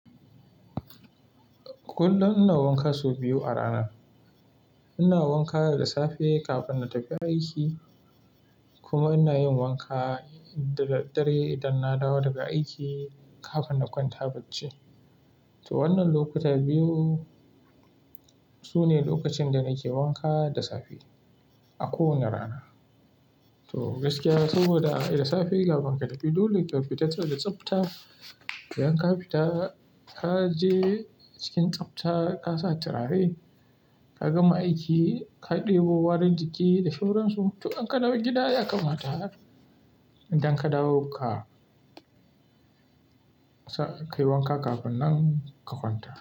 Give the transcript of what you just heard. Kullum ina wanka sau biyu a rana. Ina wanka da safe kafin na tafi aiki kuma ina yin wanka da daddare idan na dawo daga aiki kafin na kwanta bacci. To wannan lokuta biyu sune lokacin da nake wanka da safe a kowane rana. To gaskiya saboda da safe kafin ka tafi dole ka fita saboda da tsafta. Idan ka fita, ka je cikin tsafta, ka sa turare, ka gama aiki, ka ɗebo warin jiki da sauransu. To in ka dawo gida ya kammata. Idan ka dawo ka kai wanka kafin nan ka kwanta.